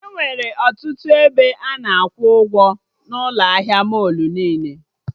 Enwere ọtụtụ ebe ana akwụ ụgwọ n'ụlọ ahịa mọlụ niile